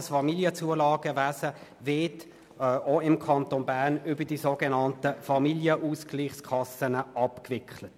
Das Familienzulagenwesen wird im Kanton Bern über die sogenannten Familienausgleichskassen abgewickelt.